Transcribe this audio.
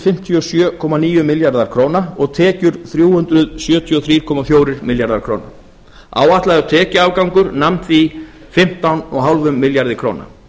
fimmtíu og sjö komma níu milljarðar króna og tekjur þrjú hundruð sjötíu og þrjú komma fjórir milljarðar króna áætlaður tekjuafgangur nam því fimmtán komma fimm milljörðum króna